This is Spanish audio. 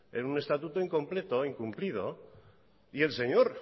en un estatuto incompleto incumplido y el señor